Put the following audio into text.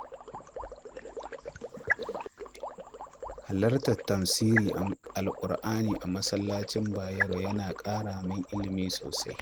Halartar tafsirin Alƙur’ani a masallacin Bayero yana ƙara min ilimi sosai.